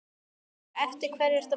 Lára: Eftir hverri ertu að bíða?